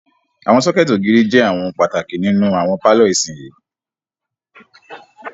Àwọn sọ́kẹ̀tì ògiri jẹ àwọn ohun pàtàkì nínú àwọn pálọ̀ ìsinyìí.